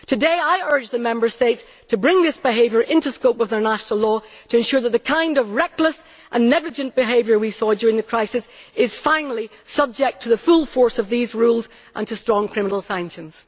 Today I urge the Member States to bring this behaviour into the scope of their national law, to ensure that the kind of reckless and negligent behaviour we saw during the crisis is finally subject to the full force of these rules and to strong criminal sanctions.